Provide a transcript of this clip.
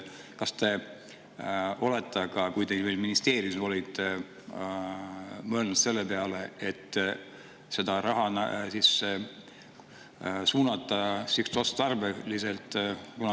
Kas siis, kui te veel ministeeriumis olite, te mõtlesite selle peale, et seda raha suunata sihtotstarbeliselt?